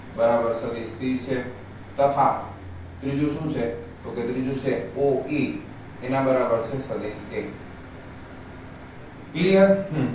બરાબર સદિસ c છે તથા ત્રીજું શુ છે તો કે ત્રીજુ છે કે oe એના બરાબર છે સદિસ a clear હમમ